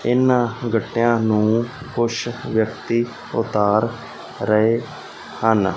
ਇਹਨਾਂ ਗੱਟਿਆਂ ਨੂੰ ਕੁਝ ਵਿਅਕਤੀ ਉਤਾਰ ਰਹੇ ਹਨ।